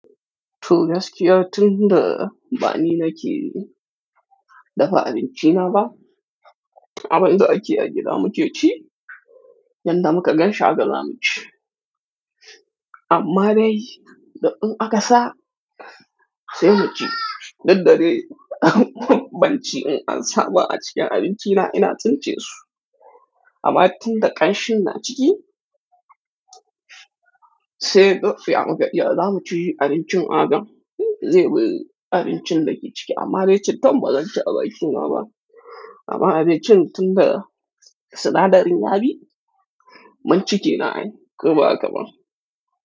To gaskiya tun da bani nake dafa abinci na ba, abin da akeyi agida mukeci, yadda muka gan shi haka zamuci. Amma dai, da in akasa sai mu ci. Duk dade banci in an saba a cikin abinci na ina tince su. Amma tun da kanshin na ciki, sai daf ya muka iya zamuci abincin a haka. Zai bari abincin da ke ciki amma dai cittan bazanci abaki naba. Amma abincin tun da sinadarin yabi, mun ciki kenan ai koba haka ba.